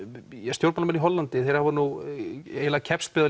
stjórnmálamenn í Hollandi hafa keppst við að